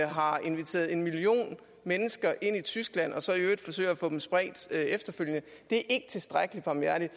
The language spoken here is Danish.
har inviteret en million mennesker ind i tyskland og så i øvrigt forsøger at få dem spredt efterfølgende det er ikke tilstrækkelig barmhjertigt